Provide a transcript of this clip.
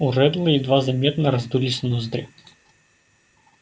у реддла едва заметно раздулись ноздри